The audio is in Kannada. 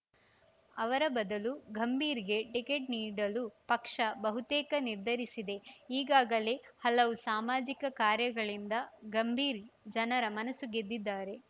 ಅವರ ಬದಲು ಗಂಭೀರ್‌ಗೆ ಟಿಕೆಟ್‌ ನೀಡಲು ಪಕ್ಷ ಬಹುತೇಕ ನಿರ್ಧರಿಸಿದೆ ಈಗಾಗಲೇ ಹಲವು ಸಾಮಾಜಿಕ ಕಾರ್ಯಗಳಿಂದ ಗಂಭೀರ್‌ ಜನರ ಮನಸು ಗೆದ್ದಿದ್ದಾರೆ